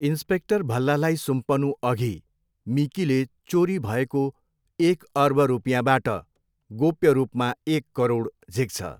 Inspector भल्लालाई सुम्पनुअघि मिकीले चोरी भएको एक अर्ब रुपियाँबाट गोप्य रूपमा एक करोड झिक्छ।